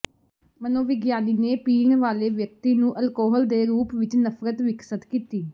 ਮਨੋਵਿਗਿਆਨੀ ਨੇ ਪੀਣ ਵਾਲੇ ਵਿਅਕਤੀ ਨੂੰ ਅਲਕੋਹਲ ਦੇ ਰੂਪ ਵਿੱਚ ਨਫ਼ਰਤ ਵਿਕਸਤ ਕੀਤੀ